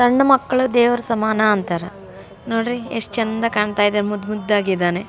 ಸಣ್ಣ ಮಕ್ಕಳು ದೇವ್ರ ಸಮಾನ ಅಂತಾರೆ ನೋಡ್ರಿ ಎಸ್ಟ್ ಚಂದ ಕಾಣ್ತಾ ಇದೆ ಮುದ್ದು ಮುದ್ದಾಗಿದಾನೆ.